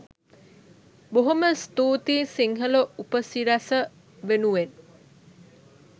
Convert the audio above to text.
බොහොම ස්තුතියි සිංහල උපසිරැස වෙනුවෙන්